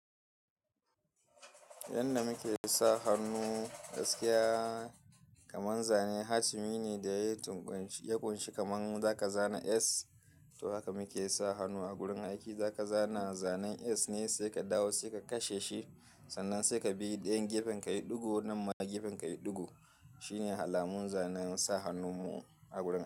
Yanda muke sa hannu gaskiya kaman zanen hatimi ne da ya yi tukunci ya ƙunshi kaman zaka zana S. To haka muke sa hannu a gurin aiki, zaka zana zanen S ne sai ka dawo, sai ka kashe shi, sannan sai ka bi da ɗayan gefen ka yi ɗigo nan ma gefen ka yi ɗigo. Shi ne halamun zanen sa hannun mu a gurin.